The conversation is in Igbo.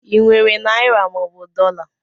I nwere naịra mọobụ dọla?